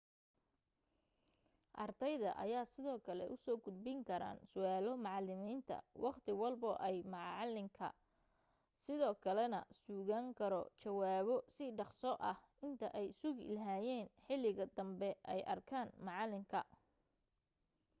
ardayda ayaa sidoo kale usoo gudbin karaan su'aalo macalimiinta waqti walbo oo maalinka sidoo kale na sugan karo jawaabo si dhaqso ah inta ay sugi lahaayeen xiliga dambe ay arkaan macalinka